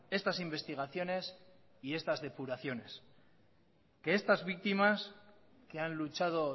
estas investigaciones y estas depuraciones que estas víctimas que han luchado